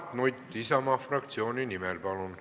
Mart Nutt Isamaa fraktsiooni nimel, palun!